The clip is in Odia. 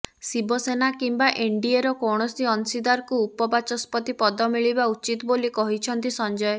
ଶିବସେନା କିମ୍ବା ଏନଡ଼ିଏର କୌଣସି ଅଂଶୀଦାରକୁ ଉପବାଚସ୍ପତି ପଦ ମିଳିବା ଉଚିତ ବୋଲି କହିଛନ୍ତି ସଞ୍ଜୟ